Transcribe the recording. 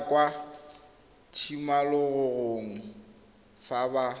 ya kwa tshimologong fa ba